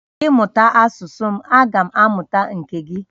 Ị mụta asusu m agam amuta nke gi